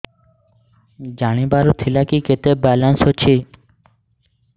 ଜାଣିବାର ଥିଲା କି କେତେ ବାଲାନ୍ସ ଅଛି